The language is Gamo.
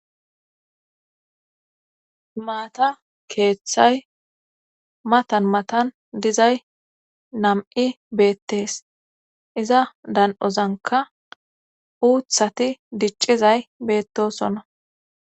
maata keeththay matan matan dizay nam7i beettees iza dan7ozanka uuthati diccizay beettosonna.